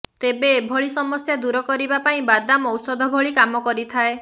ତେବେ ଏଭଳି ସମସ୍ୟା ଦୂର କରିବା ପାଇଁ ବାଦାମ ଔଷଧ ଭଳି କାମ କରିଥାଏ